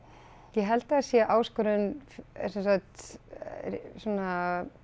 ég held að það sé áskorun sem sagt svona